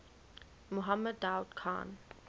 mohammed daoud khan